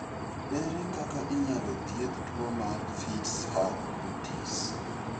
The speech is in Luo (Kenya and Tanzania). Ere kaka inyalo thiedh tuwo mar Fitz Hugh Curtis?